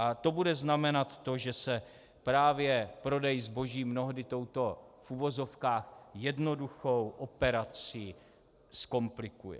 A to bude znamenat to, že se právě prodej zboží mnohdy touto v uvozovkách jednoduchou operací zkomplikuje.